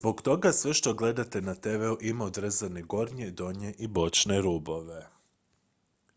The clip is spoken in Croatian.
zbog toga sve što gledate na tv-u ima odrezane gornje donje i bočne rubove